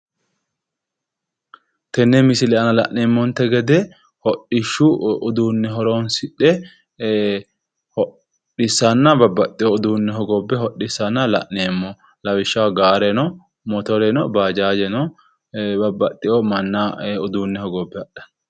Tenne misile aana la'nemmonte gede hodhishshu uduunne horonsidhe ee hodhissanna babbaxxeyo uduunne hogobbe hodhissanna la'nemmo lawishshaho gaare no motore no bajaajeno babbaxxeyo manna uduunne hogobbe hadhanna